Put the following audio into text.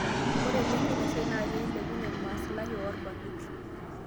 Ore lengo ina siai na pee ilepunyie maslahi oo rbarnot